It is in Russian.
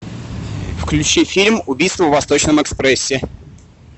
включи фильм убийство в восточном экспрессе